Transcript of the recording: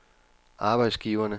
arbejdsgiverne